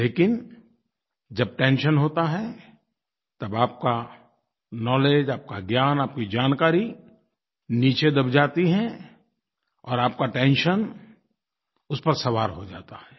लेकिन जब टेंशन होता है तब आपका नाउलेज आपका ज्ञान आपकी जानकारी नीचे दब जाती हैं और आपका टेंशन उस पर सवार हो जाता है